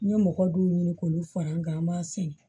N ye mɔgɔ dɔw ɲini k'olu fara an kan an b'a sɛnɛ